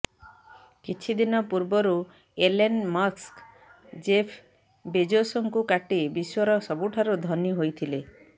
କିଛି ଦିନ ପୂର୍ବରୁ ଏଲନ୍ ମସ୍କ ଜେଫ୍ ବେଜୋସଙ୍କୁ କାଟି ବିଶ୍ବର ସବୁଠାରୁ ଧନୀ ହୋଇଥିଲେ